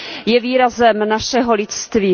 Je výrazem našeho lidství.